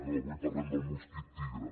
no avui parlem de mosquit tigre